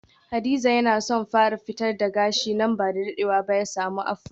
Hadiza yana son fara fitar da gashi nan bada dadewa ba ya samu afro.